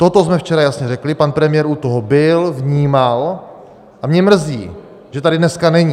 Toto jsme včera jasně řekli, pan premiér u toho byl, vnímal, a mě mrzí, že tady dneska není.